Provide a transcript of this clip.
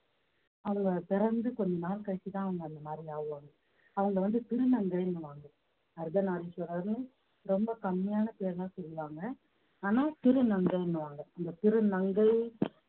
அவங்க பிறந்து கொஞ்ச நாள் கழிச்சுதான் அவங்க அந்த மாதிரி ஆகுவாங்க அவங்க வந்து திருநங்கைன்னுவாங்க அர்த்தநாரீஸ்வரர்ன்னு ரொம்ப கம்மியான பேர்தான் சொல்லுவாங்க ஆனா திருநங்கைன்னுவாங்க அந்த திருநங்கை